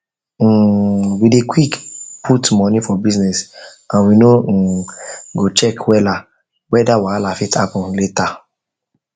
um we dey quick put money for business and we no um go check well weda wahala fit happen later happen later